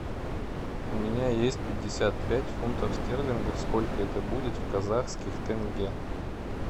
у меня есть пятьдесят пять фунтов стерлингов сколько это будет в казахских тенге